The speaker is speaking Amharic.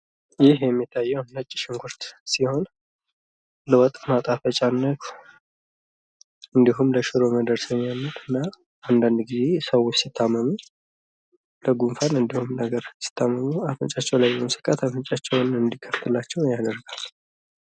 ይህ የሚታየው ነጭ ሽንኩርት ሲሆን ለወጥ ማጣፈጫነት እንድሁም ለሽሮ መደረሰሚያነት እና አንዳንድ ጊዜ ሰዎች ሲታመሙ ለጉንፋን ሲታመሙ አፍንጫቸው ላይ በመሰካት አፍንጫቸው እንድከፈትላቸው ያደርጋል።